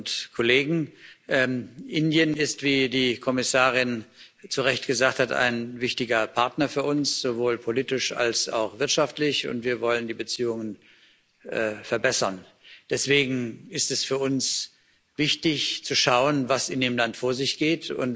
Liebe Kolleginnen und Kollegen! Indien ist, wie die Kommissarin zu Recht gesagt hat, ein wichtiger Partner für uns, sowohl politisch als auch wirtschaftlich, und wir wollen die Beziehungen verbessern. Deswegen ist es für uns wichtig, zu schauen, was in dem Land vor sich geht.